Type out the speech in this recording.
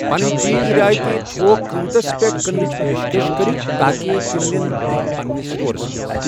پنٕنۍ چیٖز رعٲیتی تھوک قۭمتَس پٮ۪ٹھ کٕننٕچ پیشکش کٔرِو تاکہِ تِم نِنۍ تِم پنِنِس سٹورَس منٛز۔